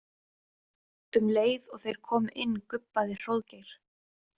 Um leið og þeir komu inn gubbaði Hróðgeir.